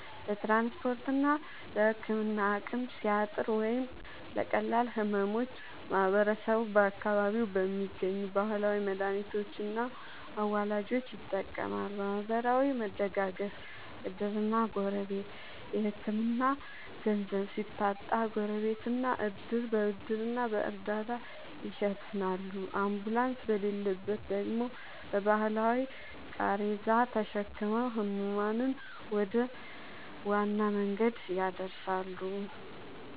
ለትራንስፖርትና ለሕክምና አቅም ሲያጥር ወይም ለቀላል ሕመሞች ማህበረሰቡ በአካባቢው በሚገኙ ባህላዊ መድኃኒቶችና አዋላጆች ይጠቀማል። ማህበራዊ መደጋገፍ (ዕድርና ጎረቤት)፦ የሕክምና ገንዘብ ሲታጣ ጎረቤትና ዕድር በብድርና በእርዳታ ይሸፍናሉ፤ አምቡላንስ በሌለበት ደግሞ በባህላዊ ቃሬዛ ተሸክመው ሕሙማንን ወደ ዋና መንገድ ያደርሳሉ።